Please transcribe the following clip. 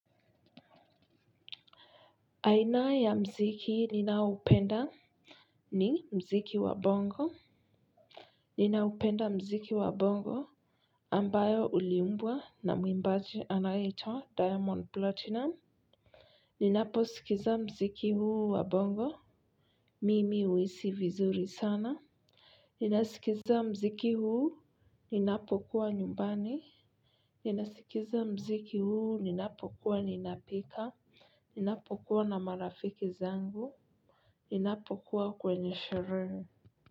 Aina ya mziki ninaoupenda ni mziki wa bongo ninaupenda mziki wa bongo ambayo uliimbwa na mwimbaji anayeitwa diamond platinum. Ninaposikiza mziki huu wa bongo mimi huhisi vizuri sana. Ninaskiza mziki huu ninapokuwa nyumbani. Ninasikiza mziki huu ninapokuwa ninapika ninapo kuwa na marafiki zangu ninapokuwa kwenye sherehe.